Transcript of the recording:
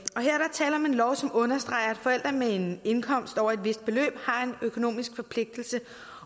tale om en lov som understreger at forældre med en indkomst over et vist beløb har en økonomisk forpligtelse